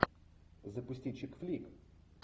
запусти чик флик